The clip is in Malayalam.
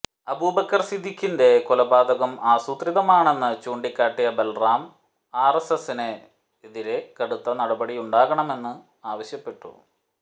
അബൂബക്കർ സിദ്ധിഖിന്റെ കൊലപാതകം ആസുത്രിതമാണെന്ന് ചൂണ്ടികാട്ടിയ ബല്റാം ആര്എസ്എസിനെതിരെ കടുത്ത നടപടിയുണ്ടാകണമെന്ന് ആവശ്യപ്പെട്ടു